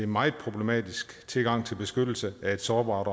meget problematisk tilgang til beskyttelse af et sårbart